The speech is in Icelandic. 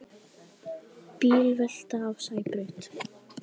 Bílvelta á Sæbraut